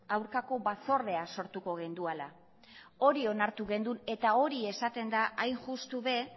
aurkako batzordea sortuko genuela hori onartu genuen eta hori esaten da hain justu ere